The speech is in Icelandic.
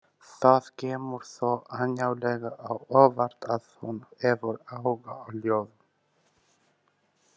Það kemur þó ánægjulega á óvart að hún hefur áhuga á ljóðum.